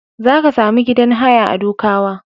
Za ka sami gidan haya a Dukawa.